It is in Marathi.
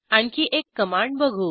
आणखी एक कमांड बघू